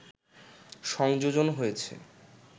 সংযোজন হয়েছে